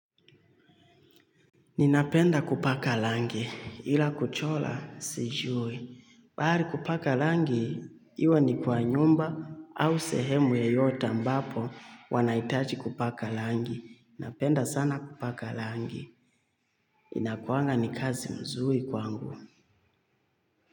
Ninapenda kupaka langi ila kuchola sijui. Mahari kupaka langi, iwe ni kwa nyumba au sehemu yeyota ambapo wanaitaji kupaka langi. Napenda sana kupaka langi. Inakuanga ni kazi mzuri kwangu.